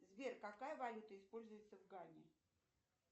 сбер какая валюта используется в гане